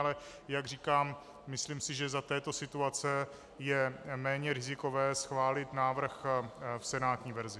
Ale jak říkám, myslím si, že za této situace je méně rizikové schválit návrh v senátní verzi.